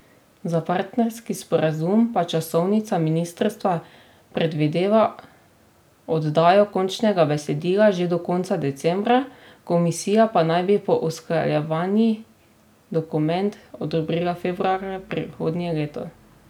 Za partnerski sporazum pa časovnica ministrstva predvideva oddajo končnega besedila že do konca decembra, komisija pa naj bi po usklajevanjih dokument odobrila februarja prihodnje leto.